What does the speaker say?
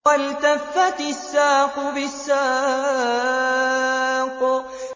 وَالْتَفَّتِ السَّاقُ بِالسَّاقِ